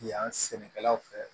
Yan sɛnɛkɛlaw fɛ